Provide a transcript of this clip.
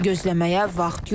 Gözləməyə vaxt yoxdur.